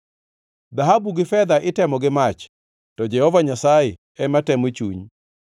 Dhahabu gi fedha itemo gi mach, to Jehova Nyasaye ema temo chuny.